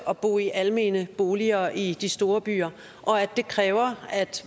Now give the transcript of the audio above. at bo i almene boliger i de store byer og at det kræver at